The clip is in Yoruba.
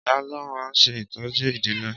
ìyá ló ma n se ìtójú ìdílé.